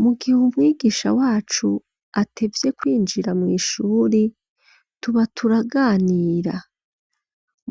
Mugihe umwigisha wacu atevye kwinjira mw'ishuri tuba turaganira